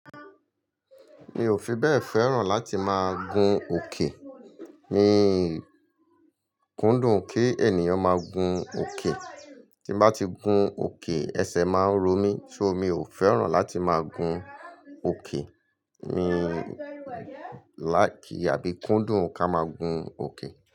Mi ò fi bẹ́ẹ̀ fẹ́ràn láti máa gun òkè. Mii kúndùn ki ènìyàn máa gùn oke tí n bá ti gun òkè, ẹsẹ̀ máa ń ro mí. So mi ò fẹ́ràn láti máa gun òkè. Mi láìkì àbí kúndùn ká máa gun òkè.